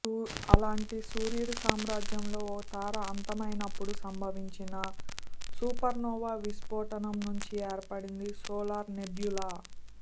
అలాంటి సూర్యుడి సామ్రాజ్యంలో ఓ తార అంతమైనప్పుడు సంభవించిన సూపర్నోవా విస్ఫోటం నుంచి ఏర్పడిందీ సోలార్ నెబ్యులా